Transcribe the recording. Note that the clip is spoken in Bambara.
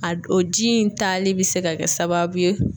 A d o ji in tali bɛ se ka kɛ sababu ye